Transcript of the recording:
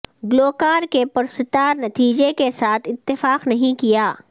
گلوکار کے پرستار نتیجے کے ساتھ اتفاق نہیں کیا